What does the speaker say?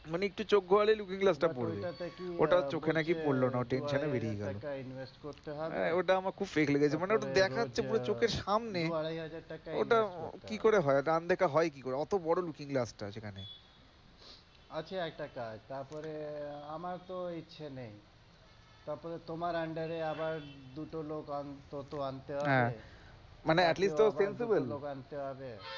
আছে একটা কাজ আমার তো ইচ্ছে নেই তারপরে তোমার under আবার দুটো লোক toto আনতে হবে মানে at least তো sensible